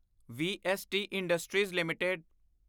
VST industries LTD